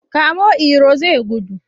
Kamo Iro zai gudu!